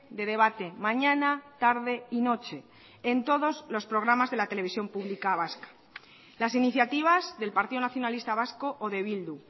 de debate mañana tarde y noche en todos los programas de la televisión pública vasca las iniciativas del partido nacionalista vasco o de bildu